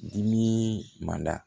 Dimi man da